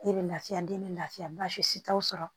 E bɛ lafiya den bɛ lafiya baasi t'o sɔrɔ